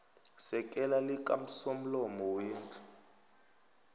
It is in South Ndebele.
sekela likasomlomo wendlu